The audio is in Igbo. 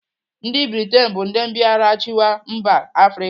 Ndị Britain bụ ndị mbịarachịwa mba Afrịka.